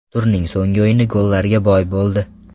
Turning so‘nggi o‘yini gollarga boy bo‘ldi.